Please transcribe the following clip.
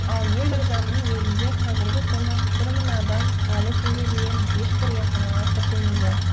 ал елорданың өзінде қазіргі күні бір мың адам әлі күнге дейін ешбір емханаға тіркелмеген